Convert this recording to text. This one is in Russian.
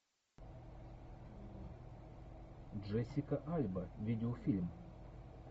джессика альба видеофильм